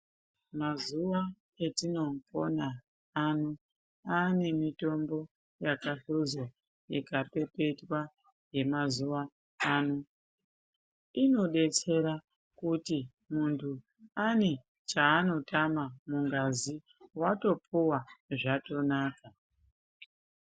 Mazuwa atinopona ano aane mitombo yakahluzwa ikapepetwa yemazuwa ano. Inodetsera kuti munhu ane chaanotama mungazi watopuwa zvatonaka.